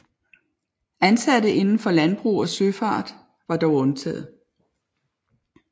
Ansatte indenfor landbrug og søfart var dog undtaget